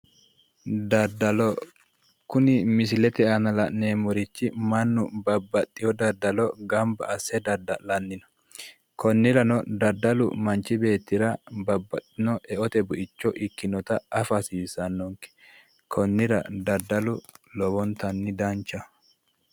daddalo kuni misilete aana la'neemmorichi mannu babbaxino daddalo gamba asse dadda'lanni no konnirano daddalu manchi beettira babbaxino eote buicho ikinota afa hasiissannonke konnira daddalu lowo geeshsha danchaho.